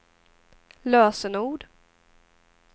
lösenord